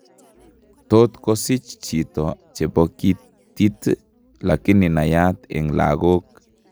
Tot kosich chito chepokitit lakini naiyat eng' lagook